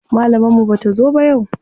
Malamar mu bata zo ba yau.